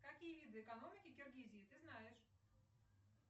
какие виды экономики киргизии ты знаешь